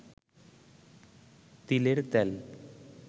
তিলের তেল